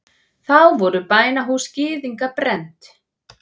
Þá voru bænahús gyðinga brennd.